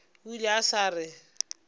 o ile a sa re